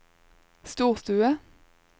storstue